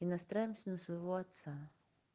настраиваться на своего отца